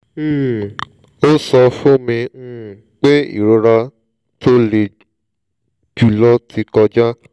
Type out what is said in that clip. um ó sọ fún mi um pé ìrora tó le jùlọ ti kọjá